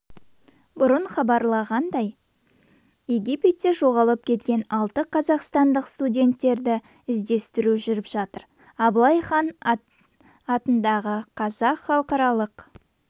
бұрын хабарланғандай египетте жоғалып кеткен алты қазақстандық студенттерді іздестіру жүріп жатыр аблай хан ат қазақ халықаралық